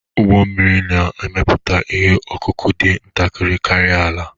Ụgbọ mmiri na-emepụta ihe ọkụkụ dị ntakịrị karịa ala